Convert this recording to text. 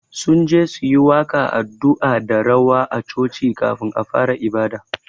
Sunje su yi waƙa, addu'a da rawa a choci kafun a fara ibada